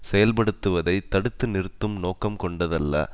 செயல்படுத்துவதை தடுத்து நிறுத்தும் நோக்கம் கொண்டதல்ல